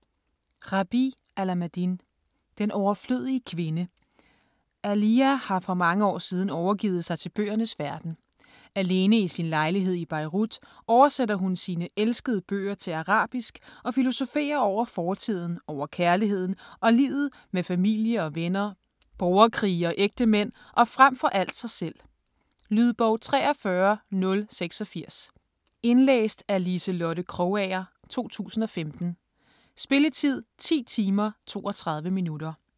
Alameddine, Rabih: Den overflødige kvinde Aaliya har for mange år siden overgivet sig til bøgernes verden. Alene i sin lejlighed i Beirut oversætter hun sine elskede bøger til arabisk og filosoferer over fortiden, over kærligheden og livet, med familie og venner, borgerkrige og ægtemænd og frem for alt sig selv. Lydbog 43086 Indlæst af Liselotte Krogager, 2015. Spilletid: 10 timer, 32 minutter.